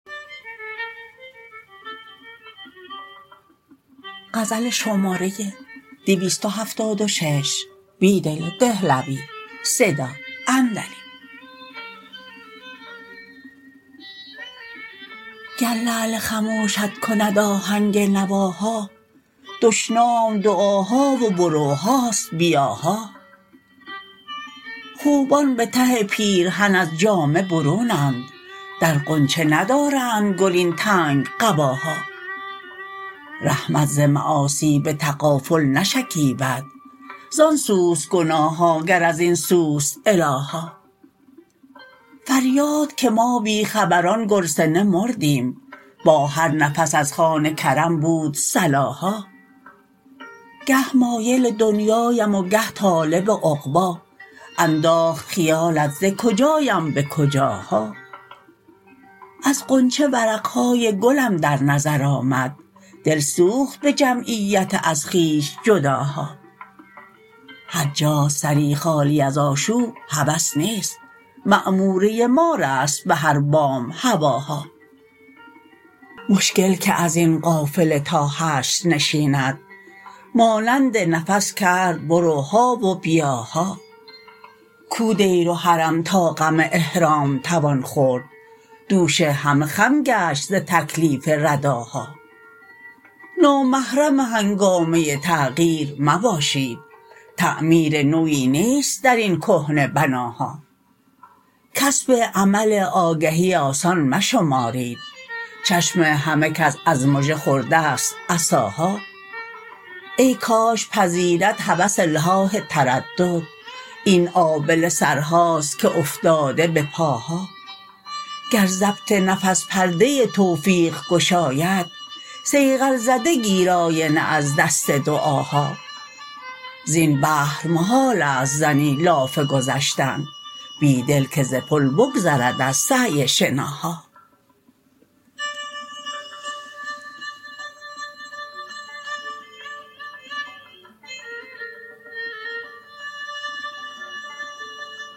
گر لعل خموشت کند آهنگ نواها دشنام دعاها و بروهاست بیاها خوبان به ته پیرهن از جامه برونند در غنچه ندارندگل این تنگ قباها رحمت ز معاصی به تغافل نشکیبد ز آنسوست گناههاگرازین سوست الاها فریادکه ما بیخبران گرسنه مردیم با هر نفس ازخوان کرم بود صلاها گه مایل دنیایم وگه طالب عقبا انداخت خیالت زکجایم به کجاها از غنچه ورقهای گلم در نظر آمد دل سوخت به جمعیت ازخویش جداها هرجاست سری خالی ازآشوب هوس نیست معموره مار است به هر بام هواها مشکل که از این قافله تا حشر نشیند مانند نفس کرد بروها و بیاها کو دیرو حرم تا غم احرام توان خورد دوش هم خم گشت ز تکلیف رداها نامحرم هنگامه تغییر مباشید تعمیر نویی نیست درین کهنه بناها کسب عمل آگهی آسان مشمارید چشم همه کس از مژه خورده شت عصاها ای کاش پذیرد هوس الحاح تردد این آبله سرهاست که افتاده به پاها گر ضبط نفس پرده توفیق گشاید صیقل زده گیر آینه از دست دعاها زین بحر محالست زنی لاف گذشتن بیدل که ز پل بگذرد از سعی شناها